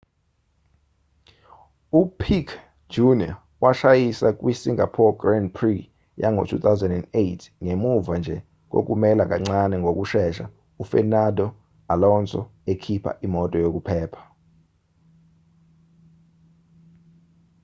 u-piquet jr washayisa kwi singapore grand prix yango-2008ngemuva nje kokumela kancane ngokushesha u-fernando alonso ekhipha imoto yokuphepha